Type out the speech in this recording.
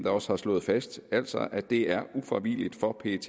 også har slået fast altså at det er ufravigeligt for pet